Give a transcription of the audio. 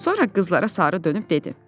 Sonra qızlara sarı dönüb dedi: